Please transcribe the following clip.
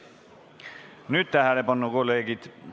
Nüüd tähelepanu, kolleegid!